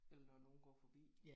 Eller når nogen går forbi